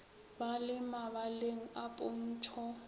ba le mabaleng a pontšho